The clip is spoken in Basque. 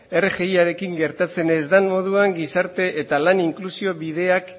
rgiarekin gertatzen ez den moduan gizarte eta lan inklusio bideak